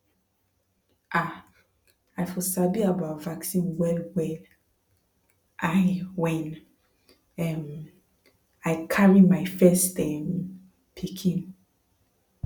ah i for sabi about vaccine welwell l when um i carry my first um pikin